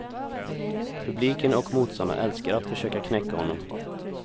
Publiken och motståndarna älskar att försöka knäcka honom.